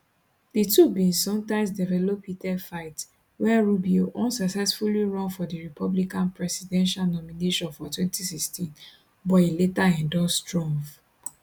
di two bin sometimes develop heated fight wen rubio unsuccessfully run for di republican presidential nomination for 2016 but e later endorse trump